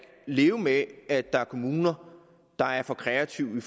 leve med at der er kommuner der er for kreative